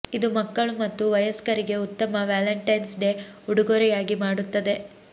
ಇದು ಮಕ್ಕಳು ಮತ್ತು ವಯಸ್ಕರಿಗೆ ಉತ್ತಮ ವ್ಯಾಲೆಂಟೈನ್ಸ್ ಡೇ ಉಡುಗೊರೆಯಾಗಿ ಮಾಡುತ್ತದೆ